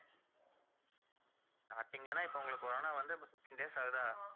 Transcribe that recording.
starting லனா இப்போ உங்களுக்கு corona வந்து, fifteen days ஆகுதா